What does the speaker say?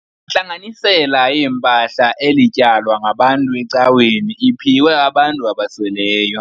Intlanganisela yempahla elityalwa ngabantu ecaweni iphiwe abantu abasweleyo.